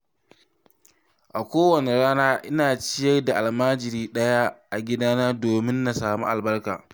A kowacce rana ina ciyar da almajiri ɗaya a gidana don neman albarka.